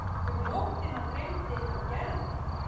Um nóttina dreymdi hann Gerði.